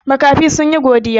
Makafi sun yi godiya.